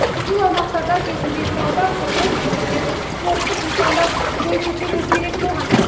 бұл аумақтарда кезінде сауда құрылыс немесе спорттық нысандар бой көтеруі керек болған